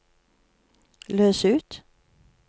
løs ut